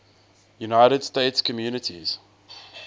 united states communities